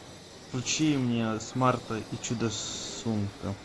включи мне смарта и чудо сумка